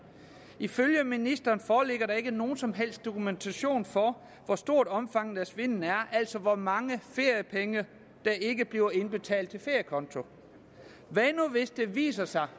ifølge ministeren foreligger der ikke nogen som helst dokumentation for hvor stort omfanget af svindet er altså hvor mange feriepenge der ikke bliver indbetalt til feriekonto hvad nu hvis det viser sig